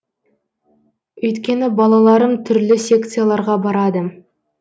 өйткені балаларым түрлі секцияларға барады